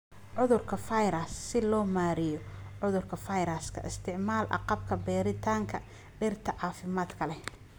"Cudurka(Virus) Si loo maareeyo cudurada fayraska, isticmaal agabka beeritaanka dhirta caafimaadka leh.